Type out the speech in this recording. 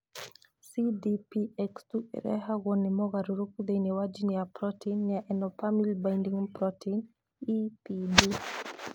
CDPX2 ĩrehagwo ni mogaruruku thĩinĩ wa jini ya proteini ya emopamil binding protein, EBP.